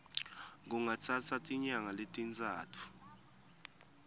kungatsatsa tinyanga letintsatfu